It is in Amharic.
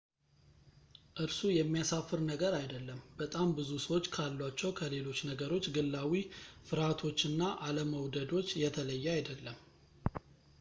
እርሱ የሚያሳፍር ነገር አይደለም በጣም ብዙ ሰዎች ካሏቸው ከሌሎች ነገሮች ግላዊ ፍርሃቶችና አለመውደዶች የተለየ አይደለም